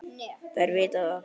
Þær viti það.